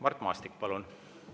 Mart Maastik, palun!